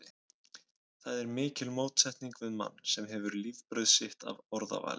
Það er mikil mótsetning við mann, sem hefur lifibrauð sitt af orðavaðli.